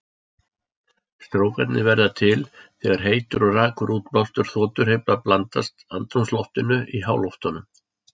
Strókarnir verða til þegar heitur og rakur útblástur þotuhreyfla blandast andrúmsloftinu í háloftunum.